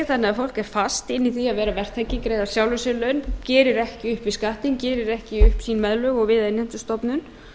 fólk er fast inni í því að vera verktaki greiða sjálfum sér laun gerir ekki upp við skattinn gerir ekki upp sín meðlög við innheimtustofnun